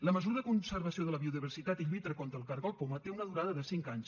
la mesura de conservació de la biodiversitat i lluita contra el cargol poma té una durada de cinc anys